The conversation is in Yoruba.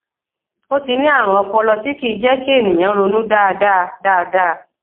ó ti ní àrùn ọpọlọ tí kì í jẹ kí ènìyàn ronú dáadáa dáadáa